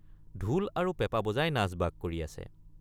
ঢোল আৰু পেঁপা বজাই নাচবাগ কৰি আছে।